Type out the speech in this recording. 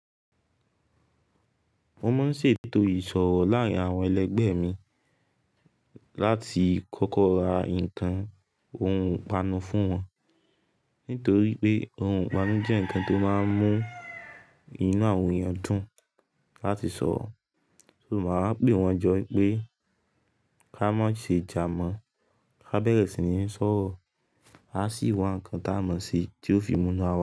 Mo máa ń ṣètò ìsọ̀rọ̀ láàárín àwọn ẹlẹgbẹ́ mi láti kọ́kọ́ ra nǹkan ohun ìpanu fún wọn. Nítorí pé ohun ìpanu jẹ́ ǹkan tó máa ń mú inú àwọn èèyàn dùn láti sọ̀rọ̀. So, máa wá ń pè wọ́n jọ pé ká má ṣe jà mọ́, ká bẹ̀rẹ̀ sí ń sọ̀rọ̀, a sì wá ǹkan táa mọ̀ ṣe tí ó fi mú inú àwa.